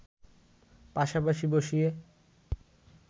পাশাপাশি বসিয়ে